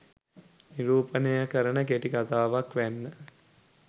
නිරූපණය කරන කෙටි කතාවක් වැන්න.